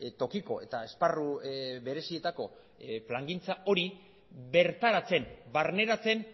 tokiko eta esparru berezietako plangintza hori bertaratzen barneratzen